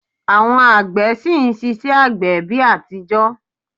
Àwọn àgbẹ̀ ṣì ń ṣiṣẹ́ àgbẹ̀ bi atijọ